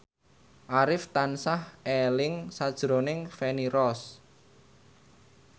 Arif tansah eling sakjroning Feni Rose